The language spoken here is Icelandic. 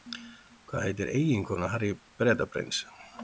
Hvað heitir eiginkona Harry Bretaprins?